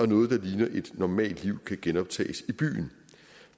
noget der ligner et normalt liv kan genoptages i byen